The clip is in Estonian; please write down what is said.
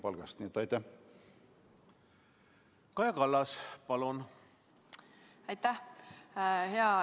Hea justiitsminister!